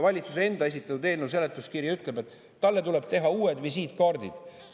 Valitsuse enda esitatud eelnõu seletuskiri ütleb, et talle tuleb teha uued visiitkaardid.